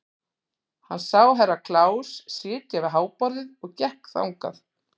Hann sá Herra Kláus sitja við háborðið og gekk þangað.